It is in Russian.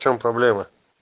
в чем проблема